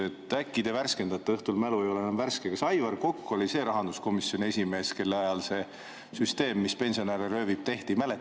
Äkki te värskendate – õhtul mälu ei ole enam värske – kas Aivar Kokk oli see rahanduskomisjoni esimees, kelle ajal see süsteem, mis pensionäre röövib, tehti?